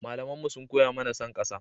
Malamanmu sun koya mana son ƙasa.